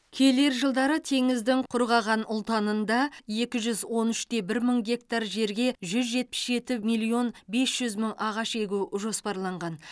келер жылдары теңіздің құрғаған ұлтанында екі жүз он үш те бір мың гектар жерге жүз жетпіс жеті миллион бес жүз мың ағаш егу жоспарланған